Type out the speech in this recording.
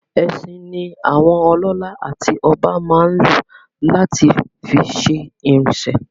Ẹṣin ni àwọn ọlọ́lá àti ọba máa n lo láti fi ṣe ìrìnsè